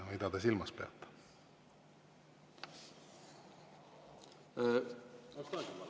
Mida te silmas peate?